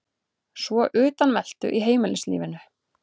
Svo utanveltu í heimilislífinu.